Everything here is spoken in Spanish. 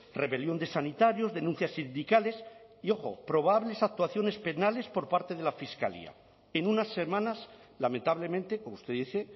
rebelión de sanitarios denuncias sindicales y ojo probables actuaciones penales por parte de la fiscalía en unas semanas lamentablemente como usted dice